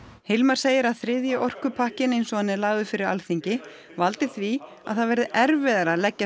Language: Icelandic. Hilmar segir að þriðji orkupakkinn eins og hann er lagður fyrir Alþingi valdi því að það verði erfiðara að leggja